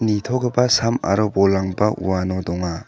nitogipa sam aro bolrangba uano donga.